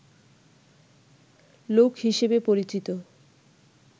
লোক হিসেবে পরিচিত